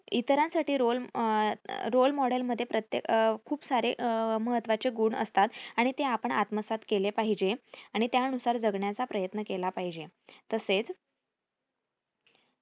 इतरांसाठी role अं role model मध्ये प्रत्येक खूप सारे महत्वाचे गुण असतात आणि ते आपण आत्मसात केले पाहिजे आणि त्यानुसार जगण्याचा प्रयत्न केला पाहिजे. तसेच